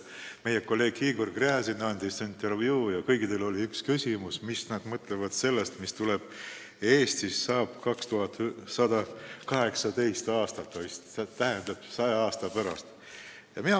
Meie kolleeg Igor Gräzin andis intervjuu ja kõikidele esitati üks küsimus: mis nad mõtlevad sellest, mis saab Eestist aastaks 2118, tähendab, saja aasta pärast?